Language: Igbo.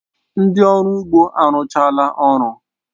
Ndị ọrụ ugbo arụchala ọrụ